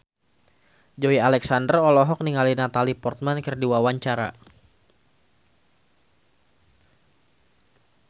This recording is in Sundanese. Joey Alexander olohok ningali Natalie Portman keur diwawancara